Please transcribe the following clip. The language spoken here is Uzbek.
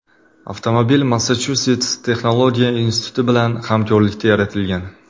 Avtomobil Massachusets texnologiya instituti bilan hamkorlikda yaratilgan.